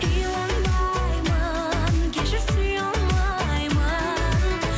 иланбаймын кешір сүйе алмаймын